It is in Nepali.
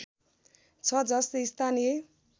छ जसले स्थानीय